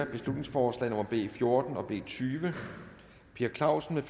beslutningsforslag nummer b fjorten og b tyve per clausen